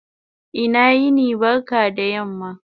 Ina yini/ barka da yamma